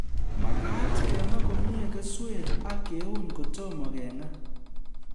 Makat kema komye keswek ak keun kotomo keng'a